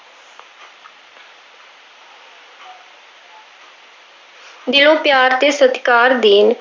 ਦਿਲੋਂ ਪਿਆਰ ਤੇ ਸਤਿਕਾਰ ਦੇਣ।